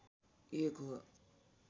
एक हो